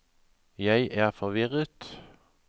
jeg er forvirret